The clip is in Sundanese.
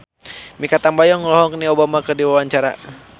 Mikha Tambayong olohok ningali Obama keur diwawancara